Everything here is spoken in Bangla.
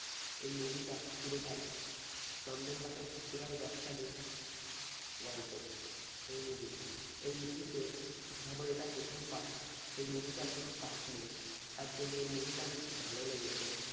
এই movie টা পুরোটাই চন্দন কাঠের চোরাই ব্যবসা নিয়ে গল্পটা এই movie র এই movie তে সবই এটা প্রথম part এই movie টার আর কোন part নেই। তার জন্য এই movie টা আমার খুব ভালো লেগেছে।